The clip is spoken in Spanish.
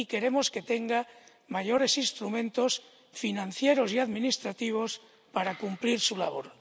Y queremos que tenga mayores instrumentos financieros y administrativos para cumplir su labor.